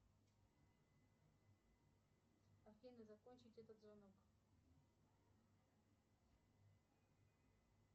афина закончить этот звонок